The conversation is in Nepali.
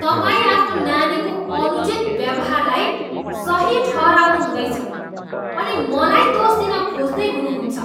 तपाईँ आफ्नो नानीको अनुचित व्यवहारलाई सही ठहराउनु हुँदैछ अनि मलाई दोष दिन खोज्दै हुनुहुन्छ।